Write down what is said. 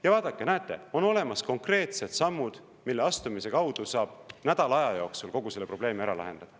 " Ja vaadake, näete, on olemas konkreetsed sammud, mille astumise kaudu saab nädala aja jooksul kogu selle probleemi ära lahendada.